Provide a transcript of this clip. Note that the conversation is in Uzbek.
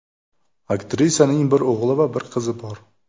Aktrisaning bir o‘g‘li va bir qizi bor.